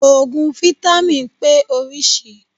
Òògùn fítámìn pé orísìí.